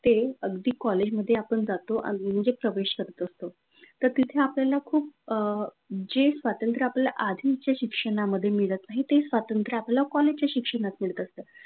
ते अगदी कॉलेजमध्ये आपण जातो म्हणजे प्रवेश करत असतो! तर तिथे आपल्याला खूप अ जे स्वतंत्र आपल्याला आधीच्या शिक्षणामध्ये मिळत नाही. तर ते स्वातंत्र्य कॉलेजच्या शिक्षणात मिळत असतं.